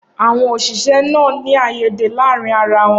Awọn oṣiṣẹ naa n ni aiyede laarin ara wọn.